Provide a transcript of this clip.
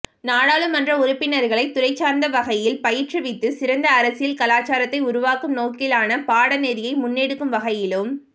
நாடாளுமன்ற உறுப்பினர்களை துறைசார்ந்த வகையில் பயிற்றுவித்து சிறந்த அரசியல் கலாசாரத்தை உருவாக்கும் நோக்கிலான பாடநெறியை முன்னெடுக்கும் வகையிலும்